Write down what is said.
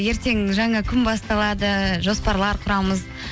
ертең жаңа күн басталады жоспарлар құрамыз